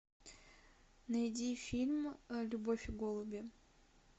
найди фильм любовь и голуби